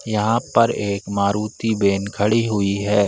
यहाँ पर एक मारुती बैन खड़ी हुई है।